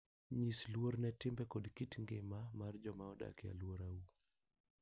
Nyis luor ne timbe koda kit ngima mar joma odak e alworau.